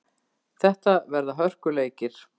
Þetta verða hörkuleikir.